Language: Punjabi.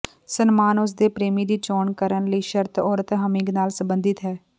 ਸਨਮਾਨ ਉਸ ਦੇ ਪ੍ਰੇਮੀ ਦੀ ਚੋਣ ਕਰਨ ਲਈ ਸ਼ਰਤ ਔਰਤ ਹਮਿੰਗ ਨਾਲ ਸਬੰਧਿਤ ਹੈ